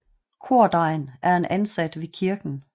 Kordegn er en ansat ved kirken